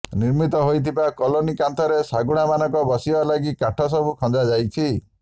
ନିର୍ମିତ ହୋଇଥିବା କଲୋନି କାନ୍ଥରେ ଶାଗୁଣାମାନଙ୍କ ବସିବା ଲାଗି କାଠ ସବୁ ଖଞ୍ଜା ଯାଇଛି